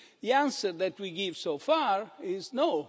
The answer that we give so far is no.